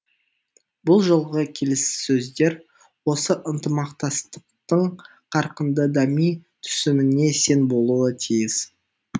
бұл жолғы келіссөздер осы ынтымақтастықтың қарқынды дами түсуіне сен болуы тиіс